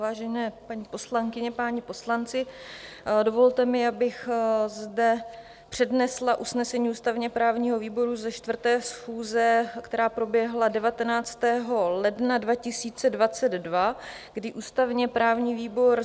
Vážené paní poslankyně, páni poslanci, dovolte mi, abych zde přednesla usnesení ústavně-právního výboru ze 4. schůze, která proběhla 19. ledna 2022, kdy "ústavně-právní výbor: